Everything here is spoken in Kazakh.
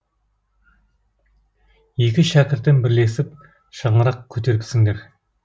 екі шәкіртім бірлесіп шаңырақ көтеріпсіңдер